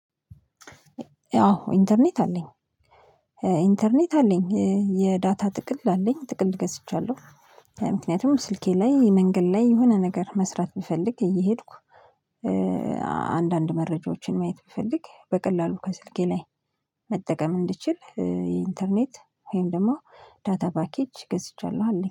አዎ ኢንተርኔት አለኝ። ኢንተርኔት አለኝ የዳታ ጥቅል አለኝ ጥቅል ገዝቻለሁ። ምክንያቱም ስልኬ ላይ መንገድ ላይ የሆነ ነገር መስራት ብፈልግ እየሄድኩ መረጃዎችን ማየት ብፈልግ በቀላሉ ከስልኬ ላይ መጠቀም እንድችል ኢንተርኔት ወይም ደግሞ ዳታ ፓኬጅ ገዝቻለሁ አለኝ